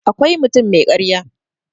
akwai mutum mai karya